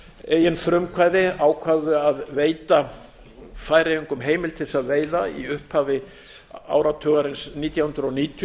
eigin frumkvæði ákváðu að veita færeyingum heimild til þess að veiða í upphafi áratugarins nítján hundruð níutíu